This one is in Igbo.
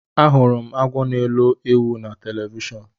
Ahụrụ m agwọ na elọ ewu na telivishọn.